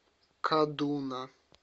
кадуна